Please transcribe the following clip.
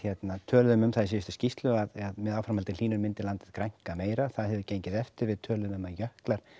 töluðum um það í síðustu skýrslu að með áframhaldandi hlýnun myndi landið grænka meira það hefur gengið eftir við töluðum um að jöklar